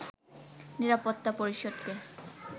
নিরাপত্তা পরিষদকে